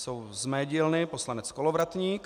Jsou z mé dílny, poslanec Kolovratník.